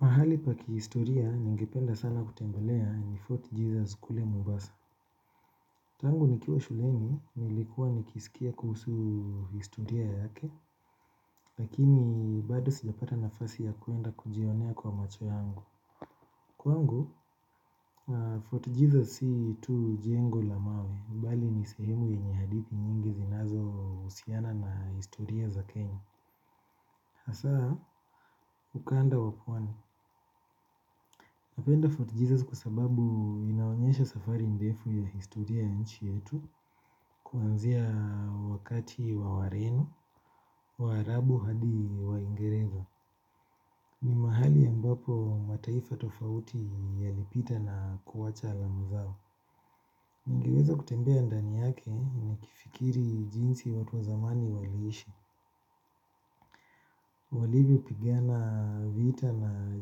Mahali pa kihistoria, ningependa sana kutembelea ni Fort Jesus kule mombasa. Tangu nikiwa shuleni, nilikuwa nikisikia kuhusu historia yake, lakini bado sijapata nafasi ya kuenda kujionea kwa macho yangu. Kwangu, Fort Jesus si tu jengo la mawe, bali ni sehemu yenye hadithi nyingi zinazohusiana na historia za kenya. Hasa, ukanda wa pwani. Napenda Fort Jesus kwa sababu inaonyesha safari ndefu ya historia nchi yetu kuanzia wakati wa warenu, waarabu hadi waingereza. Ni mahali ambapo mataifa tofauti yalipita na kuacha alama zao. Ningeweza kutembea ndani yake nikifikiri jinsi watu wa zamani waliishi. Walivyopigana vita na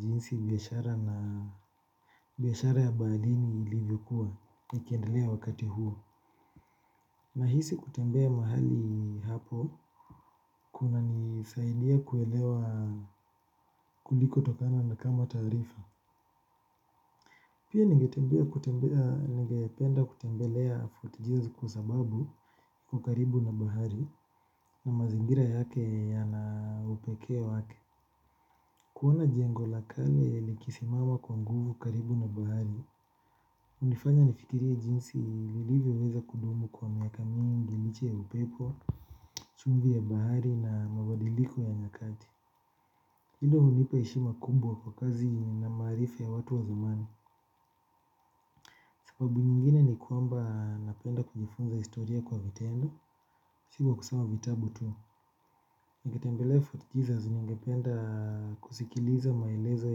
jinsi biashara na biashara ya baharini ilivyokuwa. Nikiendelea wakati huo nahisi kutembea mahali hapo. Kunanisaidia kuelewa kulikotokana na kama taarifa pia ningetembea kutembea ningependa kutembelea fort jesus kwa sababu iko karibu na bahari na mazingira yake yana upekee wake. Kuona jengo la kale likisimama kwa nguvu karibu na bahari hunifanya nifikirie jinsi nilivyoweza kudumu kwa miaka mingi liche ya upepo, chumvi ya bahari na mabadiliko ya nyakati. Hilo hunipa heshima kubwa kwa kazi na maarifa ya watu wa zamani. Sababu nyingine ni kwamba napenda kujifunza historia kwa vitendo. Si kwa kusoma vitabu tu. Nikitembele Fort Jesus ningependa kusikiliza maelezo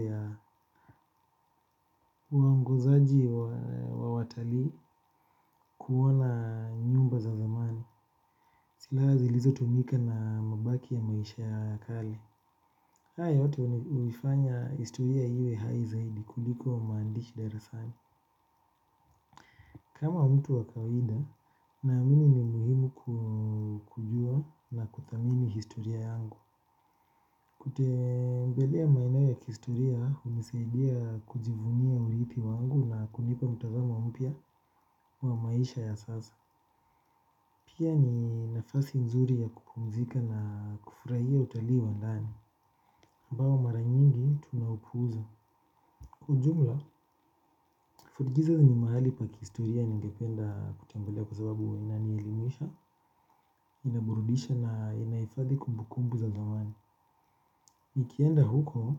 ya waongozaji wa watalii kuona nyumba za zamani. Silaa zilizotumika na mabaki ya maisha ya kale. Haya yote huifanya historia iwe hai zaidi kuliko maandishi darasani. Kama mtu wa kawaida naamini ni muhimu kujua na kuthamini historia yangu. Kutembelea maeneo ya kihistoria hunisaidia kujivunia uripi wangu na kunipa mtazamo mpya wa maisha ya sasa. Pia ni nafasi nzuri ya kupumzika na kufurahia utali wa nani ambao mara nyingi tunaupuuza. Kwa ujumla, fort Jesus ni mahali pa kihistoria ningependa kutembelea kwa sababu inanielimisha, inaborudisha na inahifadhi kumbu kumbu za zamani. Nikienda huko,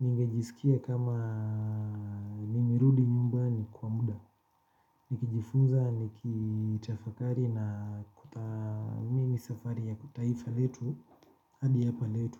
ni ngejisikia kama nimerudi nyumbani kwa muda. Nikijifunza, nikitafakari na kuthamimi safari ya kitaifa letu hadi hapa letu.